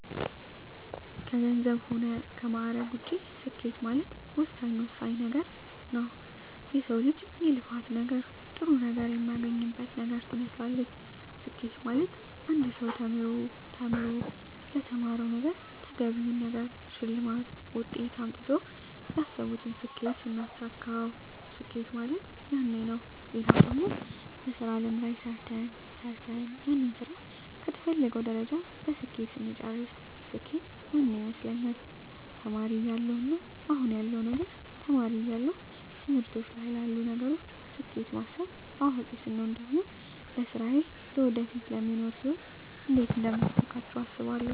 ከገንዘብ ሆነ ከማእረግ ውጭ ስኬት ማለት ወሳኝ ወሳኝ ነገረ ነዉ የሰው ልጅ የልፋት ነገር ጥሩ ነገር የሚያገኝበት ነገር ትመስላለች ስኬት ማለት አንድ ሰው ተምሮ ተምሮ ለተማረዉ ነገረ ተገቢውን ነገር ሸልማት ውጤት አምጥተው ያሰብቱን ስኬት ስናሳካዉ ስኬት ማለት ያነ ነዉ ሌላው ደግሞ በሥራ አለም ላይ ሰርተ ሰርተን ያንን ስራ ከተፈለገዉ ደረጃ በስኬት ስንጨርስ ስኬት ያነ ይመስለኛል ተማሪ እያለው እና አሁን ያለዉ ነገር ተማሪ እያለው ትምህርቶች ላይ ላሉ ነገሮች ስኬት ማስብ አዋቂ ስቾን ደግሞ ለስራየ ለወደፊቱ ለሚኖሩ ህይወት እንዴት አደምታሳካቸው አስባለሁ